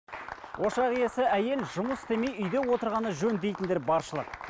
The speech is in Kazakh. ошақ иесі әйел жұмыс істемей үйде отырғаны жөн дейтіндер баршылық